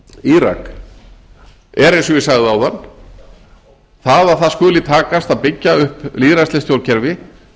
írak er eins og ég sagði áðan það að það skuli takast að byggja upp lýðræðislegt stjórnkerfi